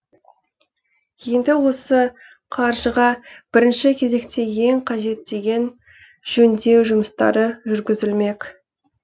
енді осы қаржыға бірінші кезекте ең қажет деген жөндеу жұмыстары жүргізілмек